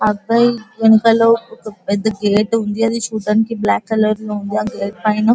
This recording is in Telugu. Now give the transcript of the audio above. అబ్బాయి వెనకాలో ఒక గేట్ ఉంది. అది చుటడానికి బ్లాక్ కలర్ లో ఉంది. ఆ గేట్ పైన --